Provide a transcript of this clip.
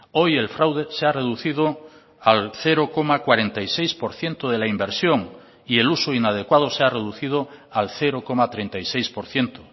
hoy el fraude se ha reducido al cero coma cuarenta y seis por ciento de la inversión y el uso inadecuado se ha reducido al cero coma treinta y seis por ciento